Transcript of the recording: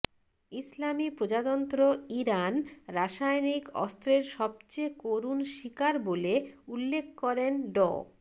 ইসলামি প্রজাতন্ত্র ইরান রাসায়নিক অস্ত্রের সবচেয়ে করুণ শিকার বলে উল্লেখ করেন ড